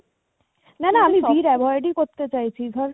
না না আমি ভিড় avoid